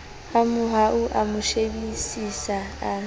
hamohau a mo shebisisa a